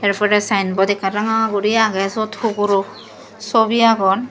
se pore saien bot ekkan ranga guri age sot huguro sobi agon.